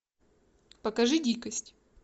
покажи дикость